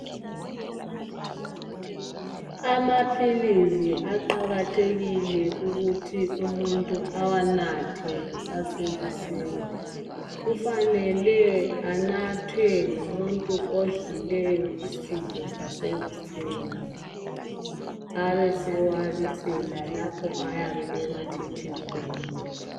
Amaphilisi aqakathekile ukuthi umuntu awanathe kusase kuseni kufanele anathwe ngumuntu odlileyo isidlo sasekuseni abesewabisela lapho oyabe ewathethe khona.